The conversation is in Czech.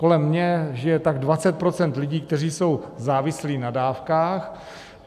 Kolem mě žije tak 20 % lidí, kteří jsou závislí na dávkách.